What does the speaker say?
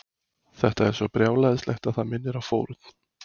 Þetta er svo brjálæðislegt að það minnir á fórn.